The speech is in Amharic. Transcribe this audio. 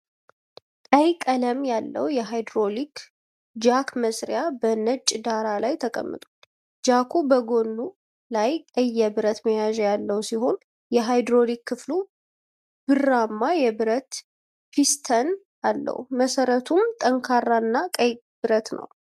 ቀይ ቀለም ያለው የሃይድሮሊክ ጃክ መሣሪያ በነጭ ዳራ ላይ ተቀምጧል። ጃኩ በጎኑ ላይ ቀይ የብረት መያዣ ያለው ሲሆን፣ የሃይድሮሊክ ክፍሉ ብርማ የብረት ፒስተን አለው፤ መሰረቱም ጠንካራና ቀይ ብረት ነው።